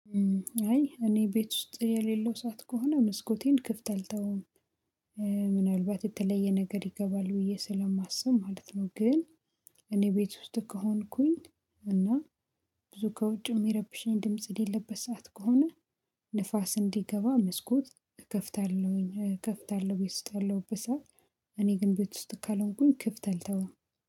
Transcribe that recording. አይ እኔ ቤት ውስጥ የሌለው ሰዓት ከሆነ መስኮቴን ክፍት አልተውም ምናልባት የተለየ ነገር ይገባል ብዬ ስለማስብ ማለት ነው። ግን እኔ ቤት ውስጥ ከሆንኩኝ እና ብዙ ከውጭ የሚረብሽኝ ድምጽ የለበት ሰዓት ከሆነ ንፋስ እንዲገባ መስኮት እከፍታለሁኝ እከፍታለሁ ቤት ውስጥ ያለው በሰአት። እኔ ግን ቤት ውስጥ ካልሆንኩኝ ክፍት አልተውም